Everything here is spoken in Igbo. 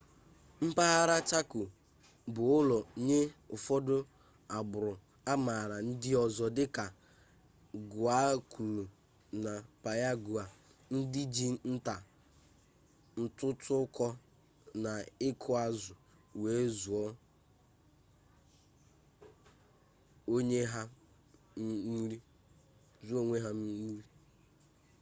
mpaghara chako bụ ụlọ nye ụfọdụ agbụrụ amaala ndị ọzọ dịka guaykuru na payagua ndị ji nta ntụtụkọ na ịkụ azụ wee zụọ onwe ha nri